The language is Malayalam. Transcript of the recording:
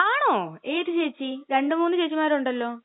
ആണോ! ഏത് ചേച്ചി? രണ്ടുമൂന്ന് ചേച്ചിമാരുണ്ടല്ലോ.